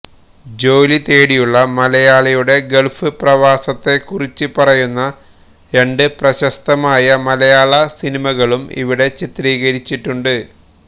ജോലി തേടിയുളള മലയാളിയുടെ ഗൾഫ് പ്രവാസത്തെ കുറിച്ച് പറയുന്ന രണ്ട് പ്രശസ്തമായ മലയാള സിനിമകളും ഇവിടെ ചിത്രീകരിച്ചിട്ടുണ്ട്